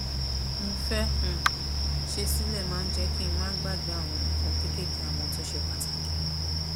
mo fé um ṣe sílè máa ń jé kí n má gbàgbé àwọn nǹkan kéékèèké àmó tó ṣe pàtàkì